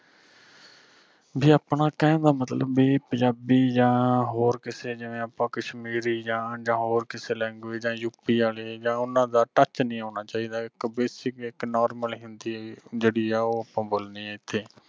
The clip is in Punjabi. ਵੀ ਆਪਣਾ ਕਹਿਣ ਦਾ ਮਤਲਬ ਵੀ ਪੰਜਾਬੀ ਜਾ ਹੋਰ ਕਿਸੇ ਜਿਮੇ ਆਪਾਂ ਕਸ਼ਮੀਰੀ ਜਾ ਹੋਰ ਕਿਸੇ language ਯੂਪੀ ਆਲੇ ਜਾ ਓਹਨਾ ਦਾ touch ਨਹੀਂ ਉਣਾਂ ਚਾਹੀਦਾ ਆ ਇਕ basic ਇਕ normal ਹਿੰਦੀ ਜਿਹੜੀ ਆ ਉਹ ਆਪਾਂ ਬੋਲਣੀ ਆ ਇਥੇ